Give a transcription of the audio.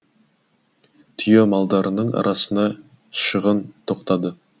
түйе малдарының арасына шығын тоқтады